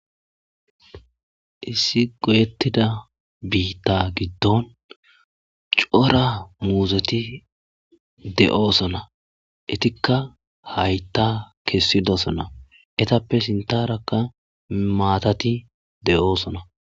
Issi goyetida bita gidon cora muzeti de'eosona etikka hayta kesidisona etappe sintarakka maatati de'eosona